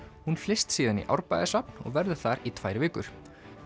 hún flyst síðan í Árbæjarsafn og verður þar í tvær vikur